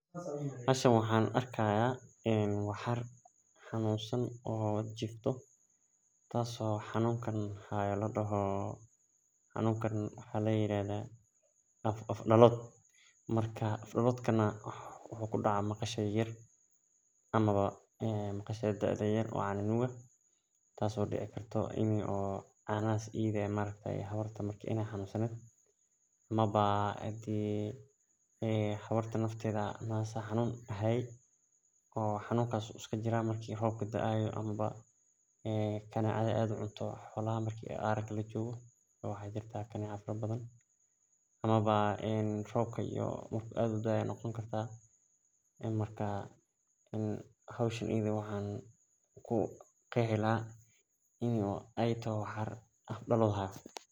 Meshan waxan arki haya waxar xanusan oo hayo afsalod maxu kudaca waxaraha yar yar maxaa dacda in ee hawarta kutalashe xanunadhan wey iska jiran marki rob u jiro ayey badana kudacan marka waxan ku qeexi lahay afdalod marka sas ayey muhiim u tahay.